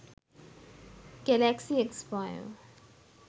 galaxy s5